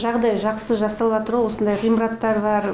жағдай жақсы жасалыватр ғо осындай ғимараттар бар